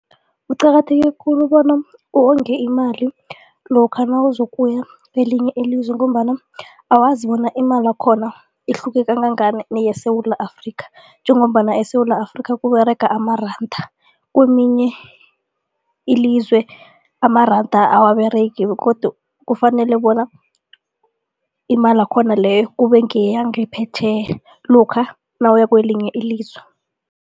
Kuqakatheke khulu bona uwonge imali lokha nawuzokuya kwelinye ilizwe ngombana awazi bona imali yakhona ihluke kangangani neyeSewula Afrika njengombana eSewula Afrika kuberega amaranda. Kweminye ilizwe amaranda awaberegi begodu kufanele bona imali yakhona leyo kube ngeyangaphetjheya lokha nawuya kwelinye ilizwe.